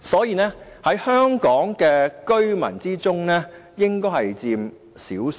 他們在香港居民中，應該只佔少數。